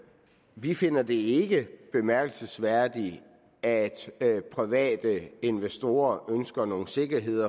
vi finder det ikke bemærkelsesværdigt at private investorer ønsker noget sikkerhed